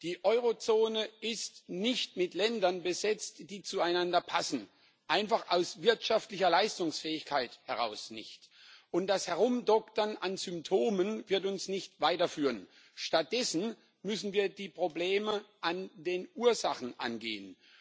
Die Eurozone ist nicht mit Ländern besetzt, die zueinander passen einfach aus wirtschaftlicher Leistungsfähigkeit heraus nicht. Das Herumdoktern an Symptomen wird uns nicht weiterführen. Stattdessen müssen wir die Probleme an den Ursachen angehen.